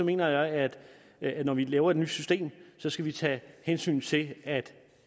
mener jeg at at når vi laver et nyt system skal vi tage hensyn til at